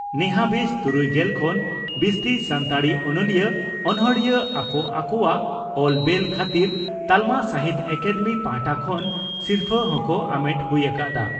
ᱱᱮᱦᱟᱵᱤᱡ ᱛᱩᱨᱩᱭᱜᱮᱞ ᱠᱷᱚᱱ ᱵᱤᱥᱛᱤ ᱥᱟᱱᱛᱟᱲᱤ ᱚᱱᱚᱞᱤᱭᱟᱹ/ᱚᱱᱚᱬᱦᱤᱭᱟᱹ ᱟᱠᱚ ᱟᱠᱚᱣᱟᱜ ᱚᱞ ᱵᱮᱞ ᱠᱷᱟᱹᱛᱤᱨ ᱛᱟᱞᱢᱟ ᱥᱟᱦᱤᱛᱭᱚ ᱟᱠᱟᱫᱮᱢᱤ ᱯᱟᱦᱴᱟ ᱠᱷᱚᱱ ᱥᱤᱨᱯᱷᱟᱹ ᱦᱚᱸᱠᱚ ᱟᱢᱮᱴ ᱦᱩᱭ ᱟᱠᱟᱫᱼᱟ ᱾